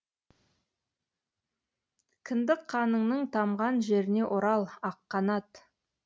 кіндік қаныңның тамған жеріне орал аққанат